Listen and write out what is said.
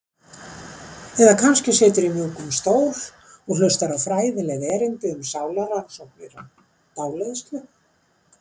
Eða kannski siturðu í mjúkum stól og hlustar á fræðileg erindi um sálarrannsóknir og dáleiðslu.